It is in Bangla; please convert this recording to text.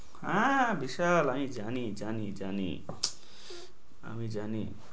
আহ বিশাল আমি জানি জানি জানি, আমি জানি।